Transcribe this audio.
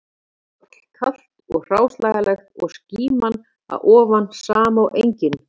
Þar var hrollkalt og hráslagalegt og skíman að ofan sama og engin